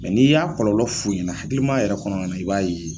Mɛ n'i y'a kɔlɔlɔ f'u ɲɛna hakilimaya yɛrɛ kɔnɔna na i b'a ye